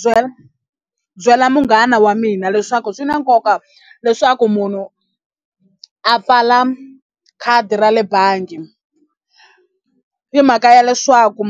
Byela byela munghana wa mina leswaku swi na nkoka leswaku munhu a pfala khadi ra le bangi hi mhaka ya leswaku